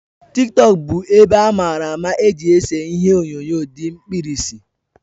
TikTọk bụ ebe amara amara eji ese ihie onyonyo di mkpirisi